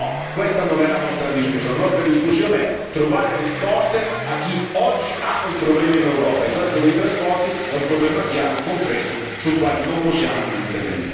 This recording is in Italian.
No, questa non è la nostra discussione. La nostra discussione deve essere finalizzata a trovare risposte a chi oggi ha un problema in Europa e questo dei trasporti è un problema chiaro, concreto, sul quale non possiamo non intervenire.